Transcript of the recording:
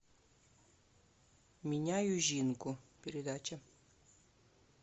меняю жинку передача